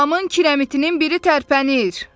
Damın kirəmitinin biri tərpənir!